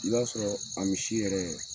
I b'a sɔrɔ a misi yɛrɛ